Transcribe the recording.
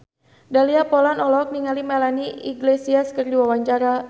Dahlia Poland olohok ningali Melanie Iglesias keur diwawancara